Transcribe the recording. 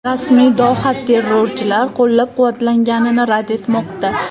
Rasmiy Doha terrorchilar qo‘llab-quvvatlanganini rad etmoqda.